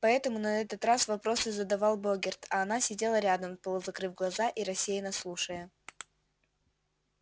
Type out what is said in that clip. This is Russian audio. поэтому на этот раз вопросы задавал богерт а она сидела рядом полузакрыв глаза и рассеянно слушая